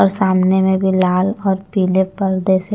और सामने में भी लाल और पीले पर्दे से--